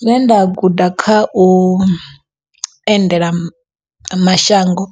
Zwine nda guda kha u endela mashango,